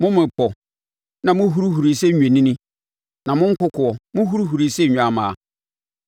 mo mmepɔ, na mohurihuri sɛ nnwennini, na mo nkokoɔ, mohurihuri sɛ nnwammaa?